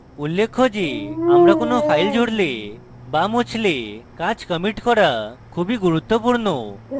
উল্লেখ্য যে আমরা কোনো file জুড়লে বা মুছলে কাজ commit করা খুবই গুরুত্বপূর্ণ